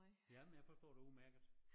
Jamen jeg forstår dig udmærket